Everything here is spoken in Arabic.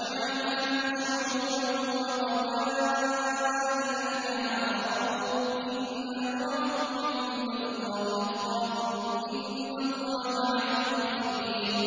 وَجَعَلْنَاكُمْ شُعُوبًا وَقَبَائِلَ لِتَعَارَفُوا ۚ إِنَّ أَكْرَمَكُمْ عِندَ اللَّهِ أَتْقَاكُمْ ۚ إِنَّ اللَّهَ عَلِيمٌ خَبِيرٌ